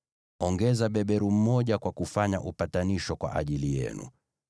Ongeza beberu mmoja kwa kufanya upatanisho kwa ajili yenu.